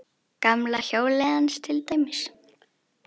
Gamla hjólið hans til dæmis.